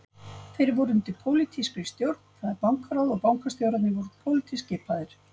Þeir voru undir pólitískri stjórn, það er bankaráð og bankastjórnir voru pólitískt skipaðar.